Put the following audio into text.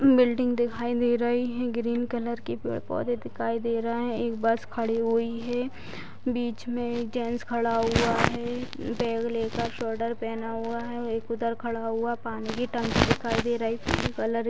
building दिखाई दे रही है ग्रीन कलर के पेड़-पौधे दिखाई दे रहा हैं एक बस खड़ी हुई है बीच में एक जेंट्स खड़ा हुआ है बैग लेकर स्वेडर पहना हुआ है एक उधर खड़ा हुआ पानी की टंकी दिखाई दे रही कलर --